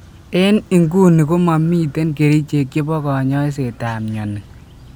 En inguni komamiten kerichek chepo kanyaisetap mioni.